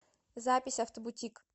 запись автобутик